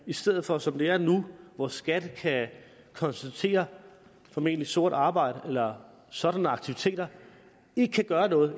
i stedet for som det er nu hvor skat kan konstatere formentlig sort arbejde eller sådanne aktiviteter og ikke kan gøre noget